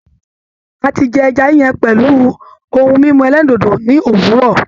A ti jẹ ẹja yíyan pẹ̀lú ohun mímu ẹlẹ́rìndòdò ní òwúrọ̀.